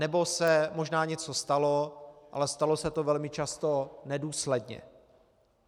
Anebo se možná něco stalo, ale stalo se to velmi často nedůsledně.